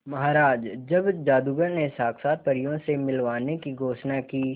महाराज जब जादूगर ने साक्षात परियों से मिलवाने की घोषणा की